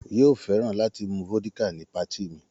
Yóò fẹ́ràn láti mu vódíkà ní patí mi.